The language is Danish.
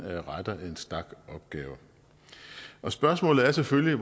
retter en stak opgaver spørgsmålet er selvfølgelig